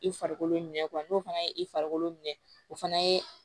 I farikolo minɛ n'o fana ye i farikolo minɛ o fana ye